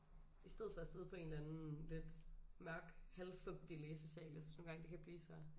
I stedet for at sidde på en eller anden lidt mørk halvfugtig læsesal jeg synes nogle gange det kan blive så